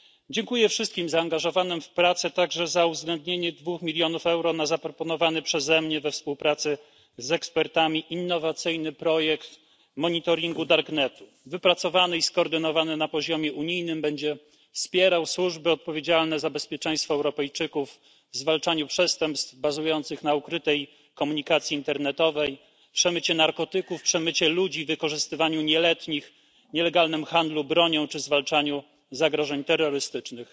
Dziękuję wszystkim zaangażowanym w prace także za uwzględnienie 2 mln euro na zaproponowany przeze mnie, we współpracy z ekspertami, innowacyjny projekt monitoringu darknetu. Wypracowany i skoordynowany na poziomie unijnym, będzie wspierał służby odpowiedzialne za bezpieczeństwo Europejczyków w zwalczaniu przestępstw bazujących na ukrytej komunikacji internetowej, przemycie narkotyków, przemycie ludzi, wykorzystywaniu nieletnich, nielegalnym handlu bronią czy w zwalczaniu zagrożeń terrorystycznych.